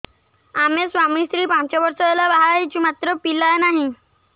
ଆମେ ସ୍ୱାମୀ ସ୍ତ୍ରୀ ପାଞ୍ଚ ବର୍ଷ ହେଲା ବାହା ହେଇଛୁ ମାତ୍ର ପିଲା ନାହିଁ